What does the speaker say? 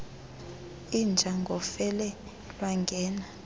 inja ngofele lwangena